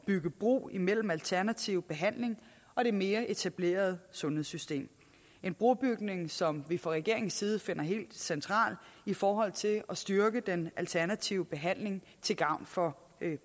bygge bro imellem alternativ behandling og det mere etablerede sundhedssystem en brobygning som vi fra regeringens side finder helt central i forhold til at styrke den alternative behandling til gavn for